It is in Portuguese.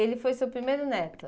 Ele foi seu primeiro neto?